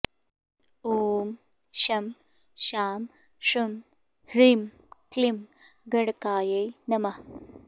ॐ शं शां षं ह्रीं क्लीं गणकाय नमः